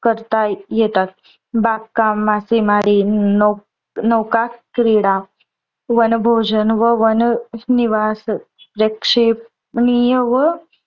करता येतात. बाग काम, मासेमारी, नौका क्रीडा, वनभोजन व वननिवासी प्रक्षेपनिय व